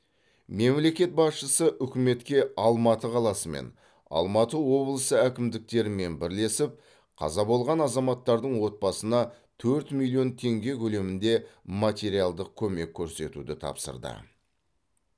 мемлекет басшысы үкіметке алматы қаласы мен алматы облысы әкімдіктерімен бірлесіп қаза болған азаматтардың отбасына төрт миллион теңге көлемінде материалдық көмек көрсетуді тапсырды